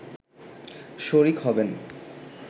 শরিক হবেন